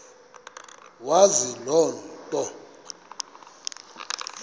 wazi loo nto